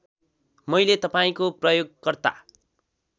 मैले तपाईँको प्रयोगकर्ता